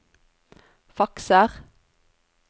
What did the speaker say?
fakser